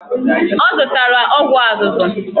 Ọ zụtara ọgwụ azụzụ.